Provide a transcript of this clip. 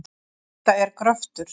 Þetta er gröftur.